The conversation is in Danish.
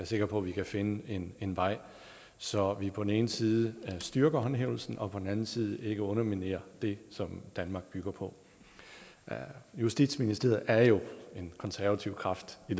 sikker på vi kan finde en en vej så vi på den ene side styrker håndhævelsen og på den anden side ikke underminerer det som danmark bygger på justitsministeriet er jo en konservativ kraft i